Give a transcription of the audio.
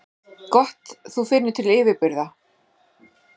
Gott þú finnur til yfirburða.